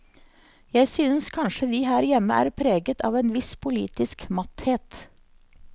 Jeg synes kanskje vi her hjemme er preget av en viss politisk matthet.